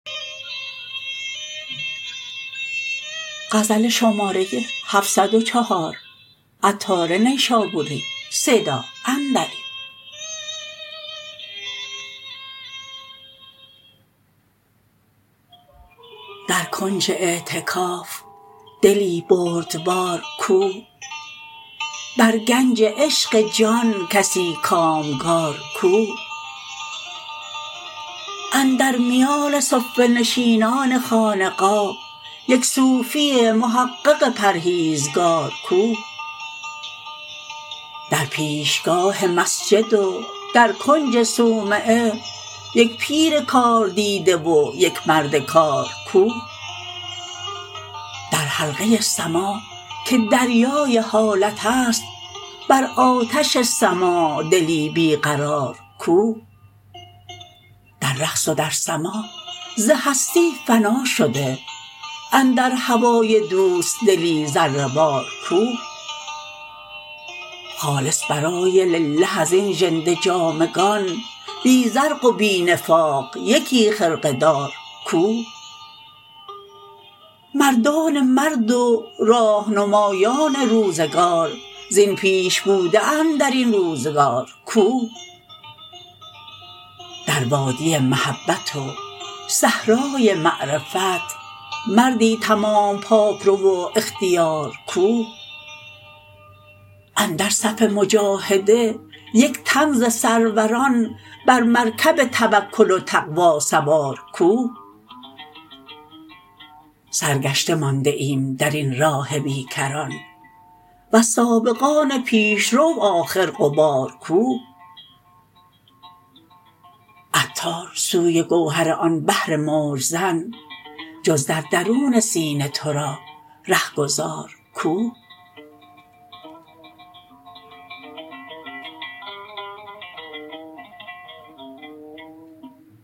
در کنج اعتکاف دلی بردبار کو بر گنج عشق جان کسی کامگار کو اندر میان صفه نشینان خانقاه یک صوفی محقق پرهیزگار کو در پیشگاه مسجد و در کنج صومعه یک پیر کار دیده و یک مرد کار کو در حلقه سماع که دریای حالت است بر آتش سماع دلی بی قرار کو در رقص و در سماع ز هستی فنا شده اندر هوای دوست دلی ذره وار کو خالص برای لله ازین ژنده جامگان بی زرق و بی نفاق یکی خرقه دار کو مردان مرد و راه نمایان روزگار زین پیش بوده اند درین روزگار کو در وادی محبت و صحرای معرفت مردی تمام پاک رو و اختیار کو اندر صف مجاهده یک تن ز سروران بر مرکب توکل و تقوی سوار کو سرگشته مانده ایم درین راه بی کران وز سابقان پیشرو آخر غبار کو عطار سوی گوهر آن بحر موج زن جز در درون سینه تورا رهگذار کو